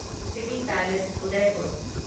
city palace Udaipur